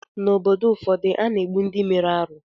N’obodo ụfọdụ, a na-egbu ndị mere arụ